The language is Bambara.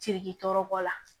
Ciki tɔɔrɔ bɔ la